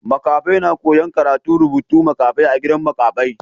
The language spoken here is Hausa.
Makafai na koya'n karantan rubutun makafai a gidan makafai.